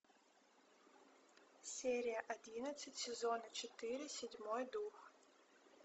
серия одиннадцать сезона четыре седьмой дух